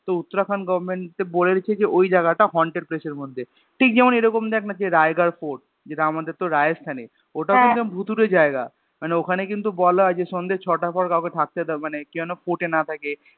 তো Uttarakhand Government এ বলে দিয়েছে যে ওই জায়গা টা Haunted place এর মধ্যে ঠিক যেমন এরকম দেখ না সে Raigarh Port যেটা আমদের তোর Rajesthan এ ওটাও কিন্তু একদম ভুতুড়ে জায়গা মানে ওখানে কিন্তু বলা হয় যে স্যন্ধে ছয়টার পর কাউকে থাকতে মানে কেউ যেনো Port না থাকে